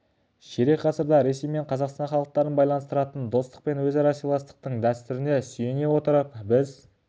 ширек ғасырда ресей мен қазақстан халықтарын байланыстыратын достық пен өзара сыйластықтың дәстүріне сүйене отырып біз